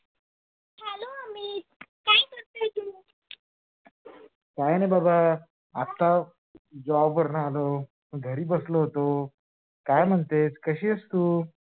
काही नाही बाबा आत्ताच job वर्ण आलो घरी बसलो होतो काय म्हणतेस? कशी आहेस तू?